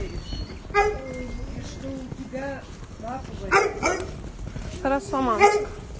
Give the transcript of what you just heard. что у тебя хорошо мальчик